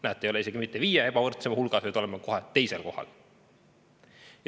Näete, me ei ole isegi mitte viie kõige ebavõrdsema hulgas, vaid oleme kohe teisel kohal.